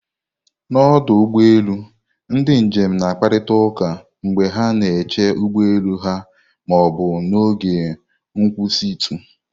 N'ọdụ ụgbọ elu, ndị njem na-akparịta ụka mgbe ha na-eche ụgbọ elu ha ma ọ bụ n'oge nkwụsịtụ.